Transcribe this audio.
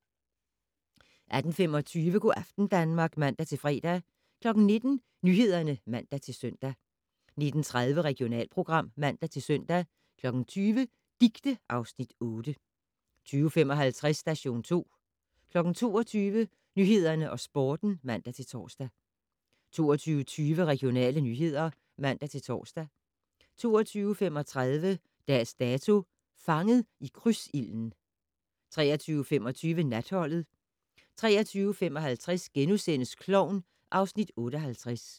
18:25: Go' aften Danmark (man-fre) 19:00: Nyhederne (man-søn) 19:30: Regionalprogram (man-søn) 20:00: Dicte (Afs. 8) 20:55: Station 2 22:00: Nyhederne og Sporten (man-tor) 22:20: Regionale nyheder (man-tor) 22:35: Dags Dato: Fanget i krydsilden 23:25: Natholdet 23:55: Klovn (Afs. 58)*